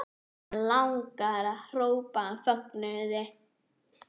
Og hana langar að hrópa af fögnuði.